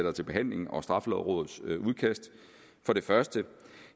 er til behandling og straffelovrådets udkast for det første